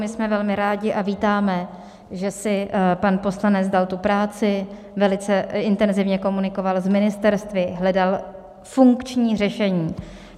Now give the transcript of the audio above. My jsme velmi rádi a vítáme, že si pan poslanec dal tu práci, velice intenzivně komunikoval s ministerstvy, hledal funkční řešení.